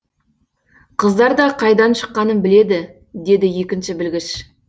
қыздар да қайдан шыққанын біледі деді екінші білгіш